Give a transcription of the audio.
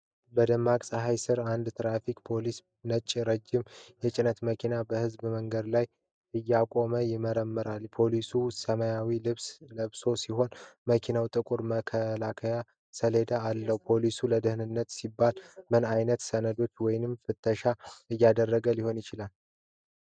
በደማቅ ፀሐይ ስር አንድ የትራፊክ ፖሊስ ነጭና ረጅም የጭነት መኪናን በሕዝብ መንገድ ላይ እያቆመ ይመረምራል። ፖሊሱ ሰማያዊ ልብስ ለብሶ ሲሆን፣ መኪናውም ጥቁር መከላከያ ሰሌዳ አለው። ፖሊሱ ለደህንነት ሲባል ምን ዓይነት ሰነዶች ወይም ፍተሻ እያደረገ ሊሆን ይችላል?